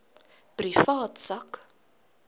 privaat sak